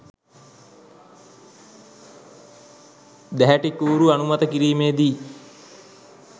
දැහැටිකූරු අනුමත කිරීමේදි